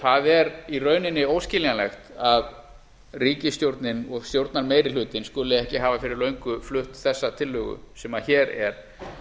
það er í rauninni óskiljanlegt að ríkisstjórnin og stjórnarmeirihlutinn skuli ekki hafa fyrir löngu flutt þessa tillögu sem hér er